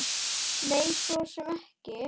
Nei, svo sem ekki.